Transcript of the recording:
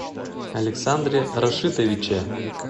александре рашитовиче